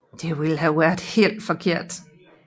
Det ville have været helt forkert